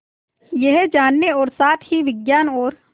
यह जानने और साथ ही विज्ञान और